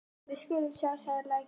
Við skulum sjá, sagði læknirinn.